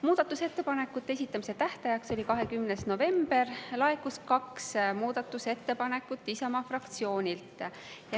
Muudatusettepanekute esitamise tähtajaks, 20. novembriks laekus kaks muudatusettepanekut Isamaa fraktsioonilt.